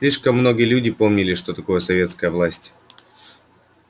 слишком многие люди помнили что такое советская власть